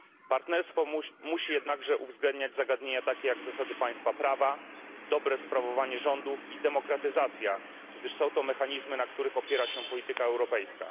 Partnerstwo musi jednakże uwzględniać zagadnienia takie, jak zasady państwa prawa, dobre sprawowanie rządów i demokratyzacja, gdyż są to mechanizmy, na których opiera się polityka europejska.